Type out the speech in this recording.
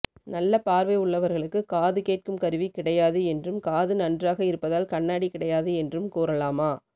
நல்ல பார்வை உள்ளவர்களுக்கு காது கேட்கும் கருவி கிடையாது என்றும் காது நன்றாக இருப்பதால் கண்ணாடி கிடையாது என்றும் கூறலாமா